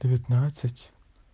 девятнадцать